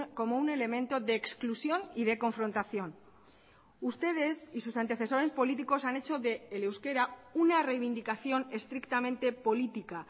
como un elemento de exclusión y de confrontación ustedes y sus antecesores políticos han hecho del euskera una reivindicación estrictamente política